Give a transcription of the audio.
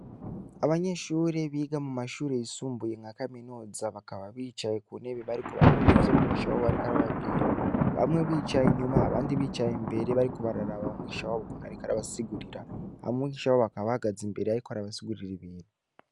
Abanyeshure biga mu mashure yisumbuye nka kaminuza bakaba bicaye ku ntebe bariko barumva ivyo mwigisha wabo ariko arababwira, bamwe bicaye inyuma abandi bicaye imbere bariko bararaba mwigisha wabo ukuntu ariko arabasigurira, hama mwigisha wabo akaba ahagaza imbere ariko arabasigurira ibintu.